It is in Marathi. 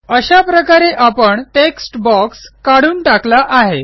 अशा प्रकारे आपण टेक्स्ट बॉक्स काढून टाकला आहे